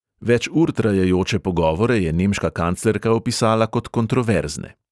Več ur trajajoče pogovore je nemška kanclerka opisala kot kontroverzne.